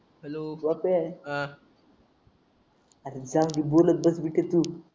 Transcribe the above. hello आपण चांगले बोळत बसले